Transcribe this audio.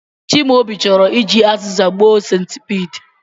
Chimaobi choro iji aziza gbuo centipede